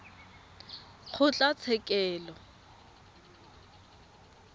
kgotlatshekelo